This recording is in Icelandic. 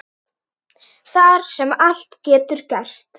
Þar sem allt getur gerst.